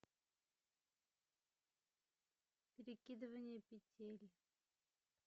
перекидывание петель